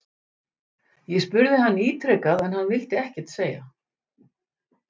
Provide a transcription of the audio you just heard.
Ég spurði hann ítrekað en hann vildi ekkert segja???